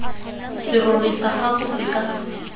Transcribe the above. serori sa gago se ka